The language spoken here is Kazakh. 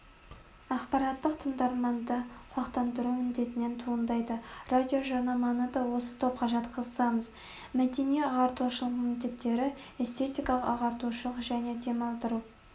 ақпараттық тыңдарманды құлақтандыру міндетінен туындайды радиожарнаманы да осы топқа жатқызамыз мәдени-ағартушылық міндеттері эстетикалық ағартушылық және демалдыру